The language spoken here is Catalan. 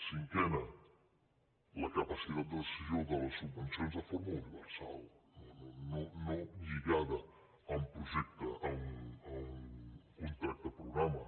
cinquena la capacitat de decisió de les subvencions de forma universal no lligada a un projecte a un contracte programa